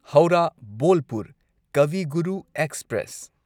Howrah Bolpur Kavi Guru express